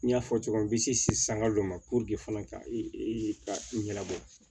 N y'a fɔ cogo min na n bɛ se sanga dɔ ma fɔlɔ ka ɲɛnabɔ